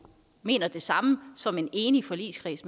mener det samme som en enig forligskreds